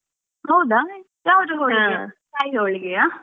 ಹೌದಾ ಯಾವ್ದು ಹೋಳಿಗೆ ಕಾಯಿ ಹೋಳಿಗೆಯಾ?